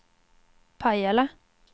Pajala